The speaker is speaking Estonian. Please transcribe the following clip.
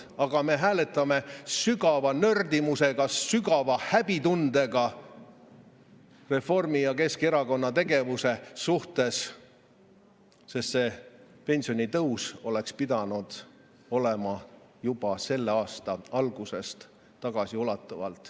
Aga me hääletame sügava nördimusega, sügava häbitundega Reformi- ja Keskerakonna tegevuse pärast, sest see pensionitõus oleks pidanud olema tagasiulatuvalt juba selle aasta algusest.